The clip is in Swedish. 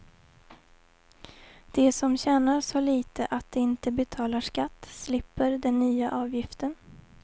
De som tjänar så lite att de inte betalar skatt slipper den nya avgiften.